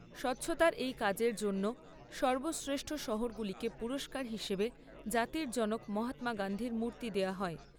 স্বচ্ছতার এই কাজের জন্য সর্বশ্রেষ্ঠ শহরগুলিকে পুরস্কার হিসেবে জাতির জনক মহাত্মা গান্ধীর মূর্তি দেওয়া হয়।